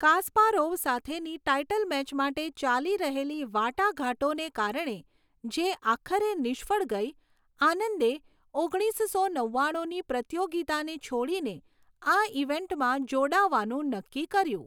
Kasparov સાથેની title match માટે ચાલી રહેલી વાટાઘાટોને કારણે, જે આખરે નિષ્ફળ ગઈ, આનંદે ઓગણીસસો નવ્વાણુંની પ્રતિયોગિતાને છોડીને આ ઈવેન્ટમાં જોડાવાનું નક્કી કર્યું.